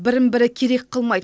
бірін бірі керек қылмайды